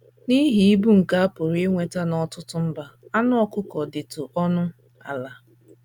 N’ihi ịbụ nke a pụrụ inweta n’ọtụtụ mba, anụ ọkụkọ dịtụ ọnụ ala.